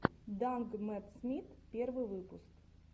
данг мэтт смит первый выпуск